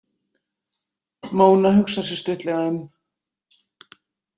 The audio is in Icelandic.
Móna hugsar sig stuttlega um.